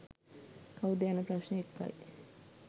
කවුද යන ප්‍රශ්නය එක්කයි.